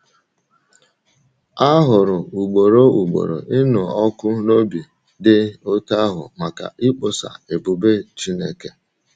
A hụrụ ugboro ugboro ịnụ ọkụ n’obi dị otú ahụ maka ịkpọsa ebube Chineke.